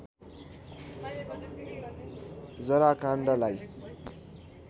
जरा काण्डलाई